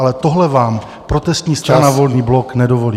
Ale tohle vám protestní strana Volný blok nedovolí.